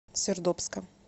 сердобска